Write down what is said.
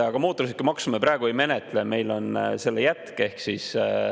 Aga mootorsõidukimaksu me praegu ei menetle, meil on selle jätk.